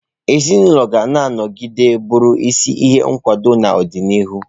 Ezinụlọ ga-anọgide bụrụ isi iyi nkwado n'ọdịnihu.